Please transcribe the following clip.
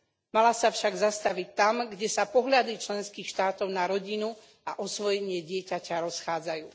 Mala sa však zastaviť tam, kde sa pohľad členských štátov na rodinu a osvojenie dieťaťa rozchádzajú.